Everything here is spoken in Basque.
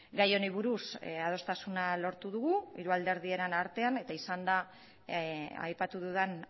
gai honi buruz adostasuna lortu dugu hiru alderdien artean eta izan da aipatu dudan